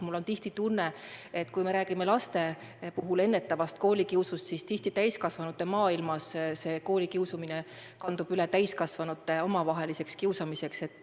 Mul on tihti tunne, et me laste puhul räägime küll koolikiusu ennetamisest, aga see koolikiusamine kandub üle täiskasvanute omavaheliseks kiusamiseks.